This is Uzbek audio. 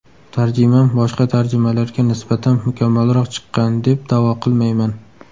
Tarjimam boshqa tarjimalarga nisbatan mukammalroq chiqqan, deb da’vo qilmayman.